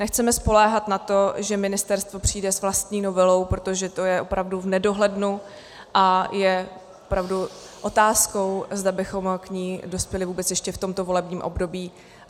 Nechceme spoléhat na to, že ministerstvo přijde s vlastní novelou, protože to je opravdu v nedohlednu, a je opravdu otázkou, zda bychom k ní dospěli vůbec ještě v tomto volebním období.